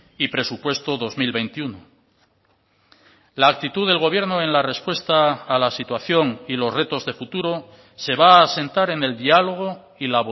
y presupuesto dos mil veintiuno la actitud del gobierno en la respuesta a la situación y los retos de futuro se va a asentar en el dialogo y